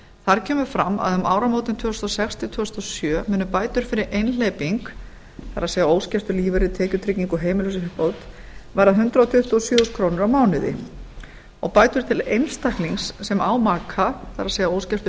þar kemur fram að um áramótin tvö þúsund og sex til tvö þúsund og sjö munu bætur fyrir einhleyping það er óskiptur lífeyrir tekjutryggingu og heimilisuppbót verða hundrað tuttugu og sjö þúsund krónur á mánuði og bætast til einstaklings sem á maka það er óskiptur